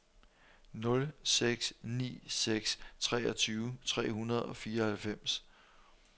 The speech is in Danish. nul seks ni seks treogtyve tre hundrede og fireoghalvfems